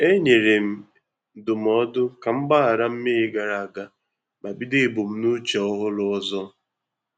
E nyere m ndụmọdụ ka m gbaghara mmehie gara aga ma bido ebumnuche ọhụrụ ọzọ